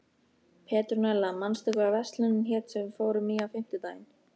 Petrúnella, manstu hvað verslunin hét sem við fórum í á fimmtudaginn?